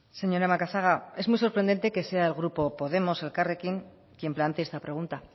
señora macazaga es muy sorprendente que sea el grupo elkarrekin podemos quien plantee esta pregunta